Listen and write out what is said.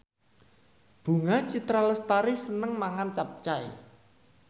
Bunga Citra Lestari seneng mangan capcay